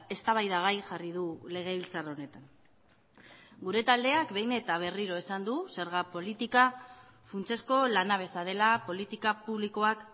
eztabaidagai jarri du legebiltzar honetan gure taldeak behin eta berriro esan du zerga politika funtsezko lanabesa dela politika publikoak